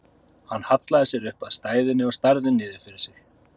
Hann hallaði sér upp að stæðunni og starði niður fyrir sig.